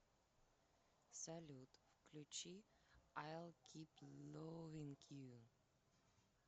салют включи айл кип ловинг ю